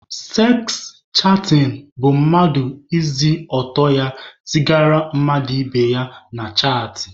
Seks chatịn bụ mmadụ ise ọtọ ya zigara mmadụ ibe ya na chaatị.